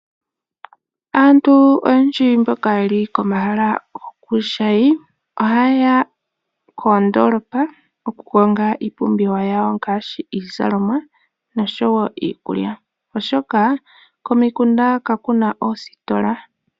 Aantu oyendji mboka yeli komahala gokuushayi , ohaye ya koondoolopa okukonga iipumbiwa yawo ngaashi iizalomwa noshowoo iikulya, oshoka komikunda kakuna oositola.